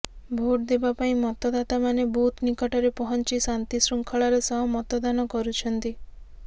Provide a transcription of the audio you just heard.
vote ଦେବାପାଇଁ ମତଦାତାମାନେ booth ନିକଟରେ ପହଞ୍ଚି ଶାନ୍ତି ଶୃଙ୍ଖଳାର ସହ ମତଦାନ କରୁଛନ୍ତି